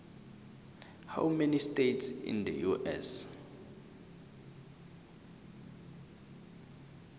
how many states in the us